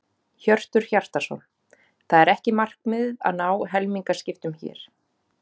Hjörtur Hjartarson: Það er ekki markmiðið að ná helmingaskiptum hér?